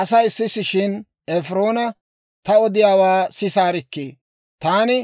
asay sisishshin Efiroona, «Ta odiyaawaa sisaarikkii! Taani